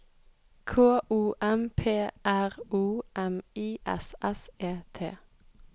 K O M P R O M I S S E T